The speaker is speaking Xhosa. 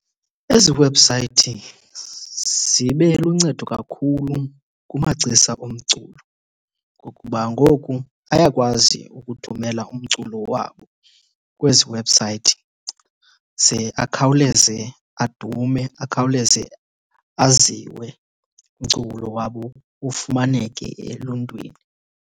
Ezi webhusayithi zibeluncedo kakhulu kumagcisa omculo ngokuba ngoku ayakwazi ukuthumela umculo wabo kwezi webhusayithi ze akhawuleze adume, akhawuleze aziwe umculo wabo, ufumaneke eluntwini.